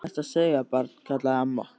Hvað ertu að segja, barn? kallaði amma.